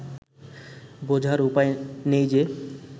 বোঝার উপায় নেই যে